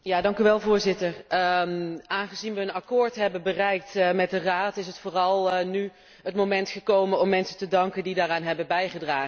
Voorzitter, aangezien we een akkoord hebben bereikt met de Raad, is vooral nu het moment gekomen om mensen te danken die daaraan hebben bijgedragen.